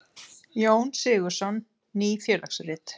Jón Sigurðsson: Ný félagsrit.